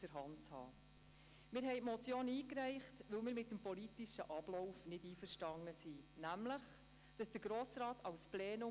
Erst dann ist es möglich, die Zwischenetappen sinnvoll zu gestalten.